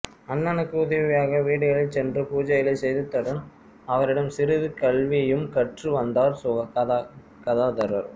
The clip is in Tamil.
அண்ணனுக்கு உதவியாக வீடுகளில் சென்று பூஜைகளைச் செய்ததுடன் அவரிடம் சிறிது கல்வியும் கற்று வந்தார் கதாதரர்